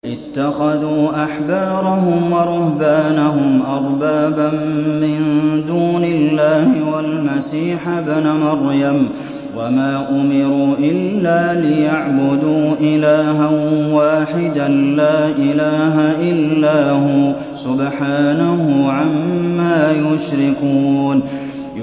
اتَّخَذُوا أَحْبَارَهُمْ وَرُهْبَانَهُمْ أَرْبَابًا مِّن دُونِ اللَّهِ وَالْمَسِيحَ ابْنَ مَرْيَمَ وَمَا أُمِرُوا إِلَّا لِيَعْبُدُوا إِلَٰهًا وَاحِدًا ۖ لَّا إِلَٰهَ إِلَّا هُوَ ۚ سُبْحَانَهُ عَمَّا يُشْرِكُونَ